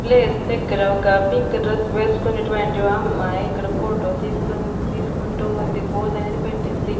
Place దగ్గర ఒక pink dress వెస్కొనేటివంటి ఓ అమ్మాయ్ ఇక్కడ ఫోటో తీస్తుం తీస్కుంటూ ఉంది ఫోజ్ అనేది పెట్టింది.